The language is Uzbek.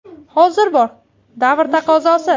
Hozir bor, davr taqozosi.